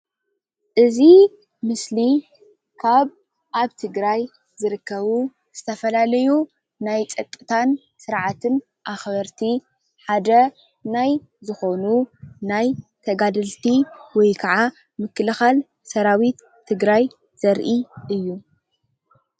እዚ ምስሊ ካብ ኣብ ትግራይ ዝርከቡ ዝተፈላለዩ ናይ ፀጥታን ስርዓትን ኣኽበርቲ ሓደ ናይ ዝኾኑ ተጋደልቲ ወይ ኸዓ ምክልኻል ናይ ሰራዊትትግራይ ዘርኢ እዩ።